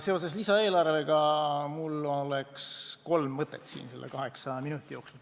Seoses lisaeelarvega mul on ette kanda kolm mõtet kaheksa minuti jooksul.